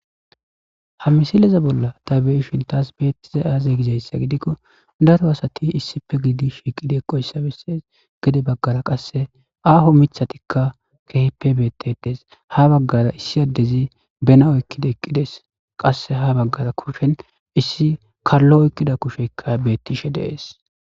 ha misileza bolla ta beishintas beettiza aaze gijayssa gidikko daro asati issife gidi shiiqide qoyssabesses gede baggara qasse aaho mithatikka kehippe beettedees ha baggara issi addezi benawoykkida eqqides qasse ha baggara kushen issi kallo oykkida kusheykka beettishe dees